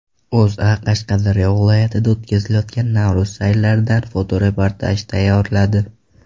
O‘zA Qashqadaryo viloyatida o‘tkazilayotgan Navro‘z sayllaridan fotoreportaj tayyorladi .